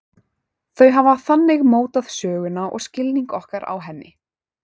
Þau hafa þannig mótað söguna og skilning okkar á henni.